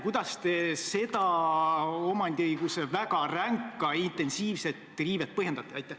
Kuidas te seda omandiõiguse väga ränka riivet põhjendate?